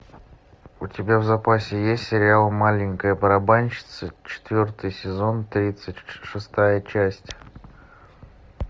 у тебя в запасе есть сериал маленькая барабанщица четвертый сезон тридцать шестая часть